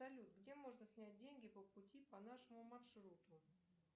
салют где можно снять деньги по пути по нашему маршруту